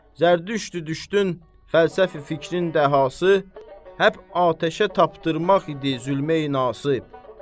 Zərdüştü düşdün fəlsəfi fikrin dahası həp atəşə tapdırmaq idi zülmə-nasız.